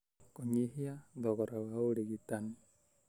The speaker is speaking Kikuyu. Kũnyihia thogora wa ũrigitani: